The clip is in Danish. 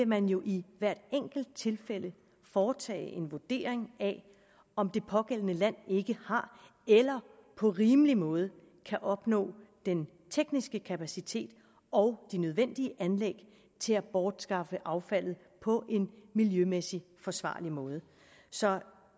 man jo i hvert enkelt tilfælde foretage en vurdering af om det pågældende land ikke har eller på rimelig måde kan opnå den tekniske kapacitet og de nødvendige anlæg til at bortskaffe affaldet på en miljømæssig forsvarlig måde så